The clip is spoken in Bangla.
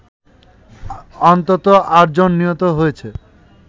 অন্তত ৮ জন নিহত হয়েছে